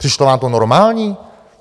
Přišlo vám to normální?